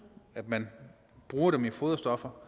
at man bruger dem i foderstoffer